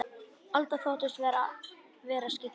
Alda þóttist aldrei vera skyggn.